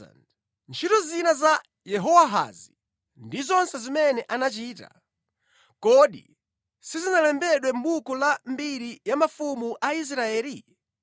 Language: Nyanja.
Ntchito zina za Yehowahazi ndi zonse zimene anachita, kodi sizinalembedwe mʼbuku la mbiri ya mafumu a Israeli?